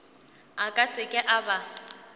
a ka seke a ba